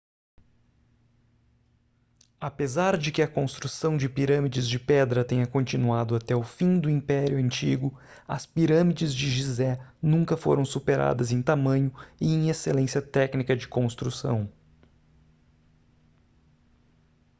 apesar de que a construção de pirâmides de pedra tenha continuado até o fim do império antigo as pirâmides de gizé nunca foram superadas em tamanho e em excelência técnica de construção